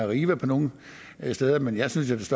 arriva nogle steder men jeg synes